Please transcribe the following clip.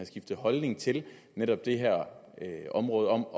skiftet holdning til netop det her område om